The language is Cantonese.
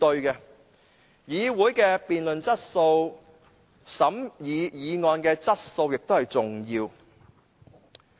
議會的辯論質素及審議議案的質素，亦很重要。